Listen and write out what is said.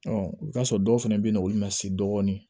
i bi t'a sɔrɔ dɔw fɛnɛ be yen nɔ olu ma se dɔɔni